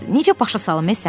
Necə başa salım səni?